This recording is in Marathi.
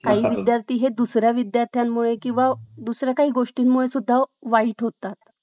काही विद्यार्थी हे दुसऱ्या विद्यार्थ्यामुळे किंवा दुसऱ्याकाही गोष्टींमुळेहि वाईट होतात .